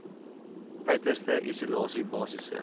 uiterste isolasie basiese